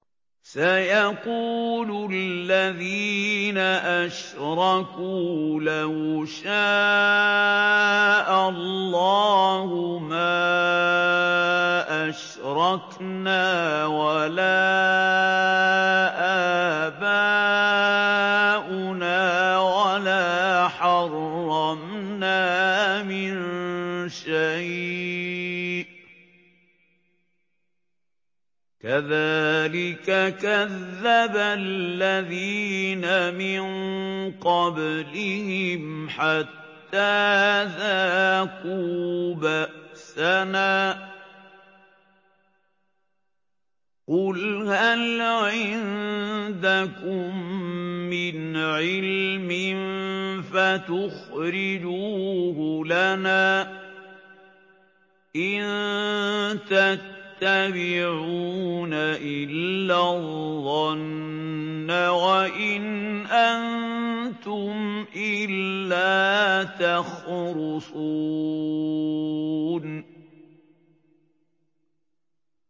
سَيَقُولُ الَّذِينَ أَشْرَكُوا لَوْ شَاءَ اللَّهُ مَا أَشْرَكْنَا وَلَا آبَاؤُنَا وَلَا حَرَّمْنَا مِن شَيْءٍ ۚ كَذَٰلِكَ كَذَّبَ الَّذِينَ مِن قَبْلِهِمْ حَتَّىٰ ذَاقُوا بَأْسَنَا ۗ قُلْ هَلْ عِندَكُم مِّنْ عِلْمٍ فَتُخْرِجُوهُ لَنَا ۖ إِن تَتَّبِعُونَ إِلَّا الظَّنَّ وَإِنْ أَنتُمْ إِلَّا تَخْرُصُونَ